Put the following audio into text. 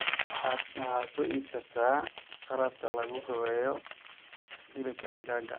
waxa soo iibsataa qalabka laguhabeeyo hilibka digaaga.